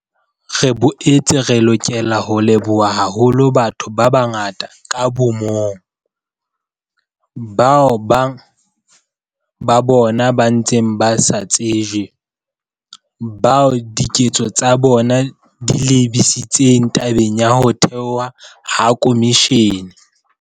Re boetse re lokela ho leboha haholo batho ba bangata ka bo mong, bao bang ba bona ba ntseng ba sa tsejwe, bao diketso tsa bona di lebisitseng tabeng ya ho thehwa ha khomishene.